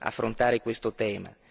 affrontare questo tema.